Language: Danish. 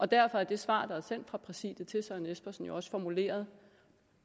derfor er det svar der er sendt fra præsidiet til herre søren espersen jo også formuleret